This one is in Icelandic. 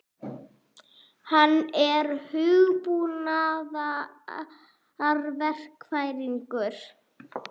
Hann er hugbúnaðarverkfræðingur.